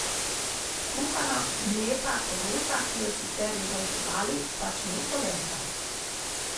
Kuhana mleta koruza, ki jo sicer jedo živali, pač ni polenta.